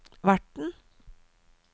verten